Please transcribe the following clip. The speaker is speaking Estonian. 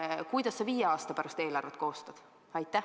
Kuidas sa viie aasta pärast eelarvet koostad?